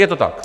Je to tak?